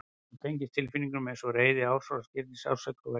Hún tengist tilfinningum eins og reiði, árásargirni, sársauka og vellíðan.